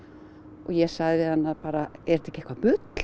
og ég sagði við hana bara eitthvað bull